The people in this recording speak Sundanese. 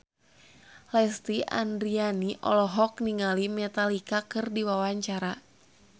Lesti Andryani olohok ningali Metallica keur diwawancara